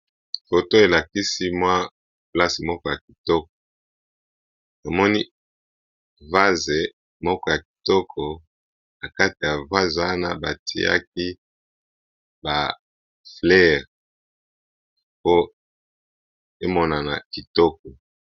poto elakisi mwa place moko ya kitoko amoni vase moko ya kitoko na kati ya vase wana batiaki ba fleire po emonana kitoko